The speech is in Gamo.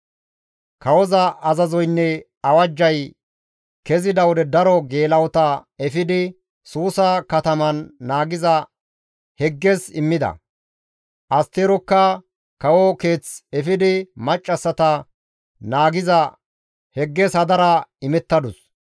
Kawoza azazoynne awajjay kezida wode daro geela7ota efidi Suusa kataman naagiza Hegges immida; Asterokka kawo keeth efidi maccassata naagiza Hegges hadara imettadus.